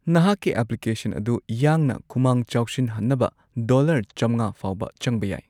ꯅꯍꯥꯛꯀꯤ ꯑꯦꯄ꯭ꯂꯤꯀꯦꯁꯟ ꯑꯗꯨ ꯌꯥꯡꯅ ꯈꯨꯃꯥꯡ ꯆꯥꯎꯁꯤꯟꯍꯟꯅꯕ ꯗꯣꯂꯔ ꯆꯝꯉꯥ ꯐꯥꯎꯕ ꯆꯪꯕ ꯌꯥꯏ꯫